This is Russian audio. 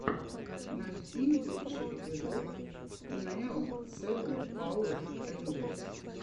найти лучший эпизод нео сэбэн пауэр рэйнджерс